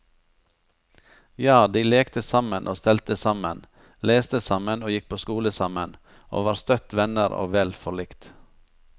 Ja, de lekte sammen og stelte sammen, leste sammen og gikk på skole sammen, og var støtt venner og vel forlikt.